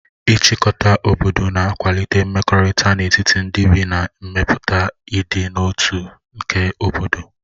Ịchịkọta obodo na-akwalite mmekọrịta n'etiti ndị bi ma mepụta ịdị n'otu tu nke obodo.